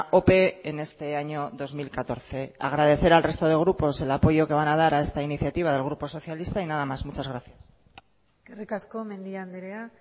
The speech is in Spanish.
ope en este año dos mil catorce agradecer al resto de grupos el apoyo que van a dar a esta iniciativa del grupo socialista y nada más muchas gracias eskerrik asko mendia andrea